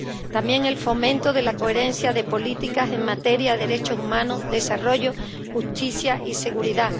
También el fomento de la coherencia de las políticas en materia de derechos humanos, desarrollo, justicia y seguridad.